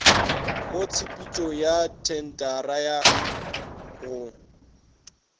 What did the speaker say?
mo tshepetšong ya thentara go